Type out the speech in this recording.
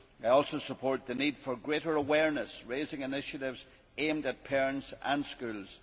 I also support the need for greater awareness raising initiatives aimed at parents and schools.